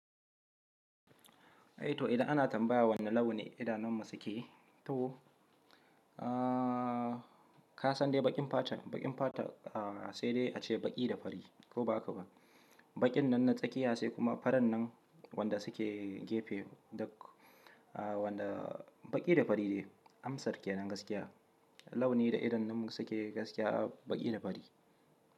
Eh to idan ana tambaya wane launi idanun mu su ke to, aa ka san dai baƙin fata, baƙin fata aa sai dai ace baƙi da fari ko ba haka ba? Baƙin nan na tsakiya sai kuma faran nan wanda suke gefe da aa wanda baƙi da fari ne amsar ke nan gaskiya. Launi da idanun mu su ke gaskiya baƙi da fari.